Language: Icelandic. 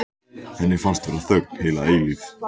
Henni finnst vera þögn heila eilífð.